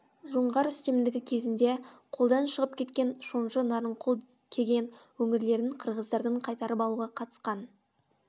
жоңғар үстемдігі кезінде қолдан шығып кеткен шонжы нарынқол кеген өңірлерін қырғыздардан қайтарып алуға қатысқан